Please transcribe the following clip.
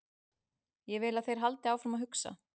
Ég vil að þeir haldi áfram að hugsa.